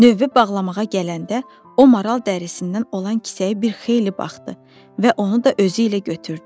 Növbə bağlamağa gələndə, o maral dərisindən olan kisəyə bir xeyli baxdı və onu da özü ilə götürdü.